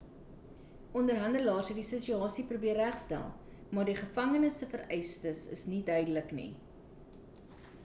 onderhandelaars het die situasie probeer regstel maar die gevangenes se vereistes is nie duidelik nie